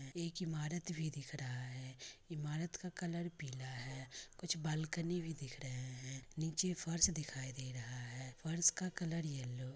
एक ईमारत भी दिख रहा है ईमारत का कलर पीला है कुछ बालकनी भी दिख रहे है नीचे फर्श दिखाई दे रहा है फर्श का कलर येलो --